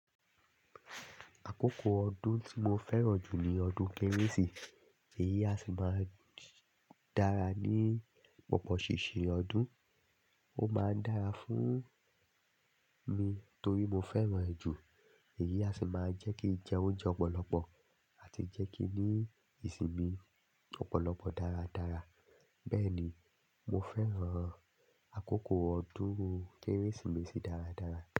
Àkókò ọdún tí mo fẹ́ràn jù ni ọdún Kérésì. Èyí a sì máa ń dára ní pọ̀pọ̀seṣe ọdún. Ó máa ń dára fún mi torí mo fẹ́ràn ẹ̀ jù. Èyí a sì máa ń jẹ́ kí n jẹ oúnjẹ ọ̀pọ̀lọpọ̀ àti jẹ́ kí ní ìsinmi ọ̀pọ̀lọpọ̀ dáradára. Bẹ́ẹ̀ ni, mo fẹ́ràn àkókò ọdún Kérésìmesì dáradára.